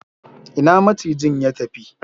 Ina macijin ya tafi?